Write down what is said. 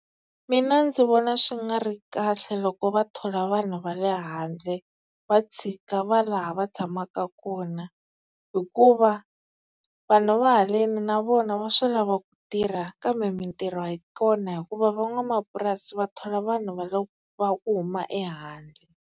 Mina ndzi vona swi nga ri kahle loko va thola vanhu va le handle va tshika va laha va tshamaka kona, hikuva vanhu va haleni na vona va swi lava ku tirha kambe mintirho a yi kona hikuva van'wamapurasi va thola vanhu va ku huma ehandle.